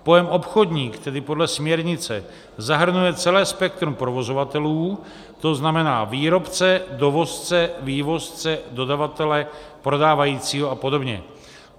Pojem obchodník tedy podle směrnice zahrnuje celé spektrum provozovatelů, to znamená výrobce, dovozce, vývozce, dodavatele, prodávajícího a podobně.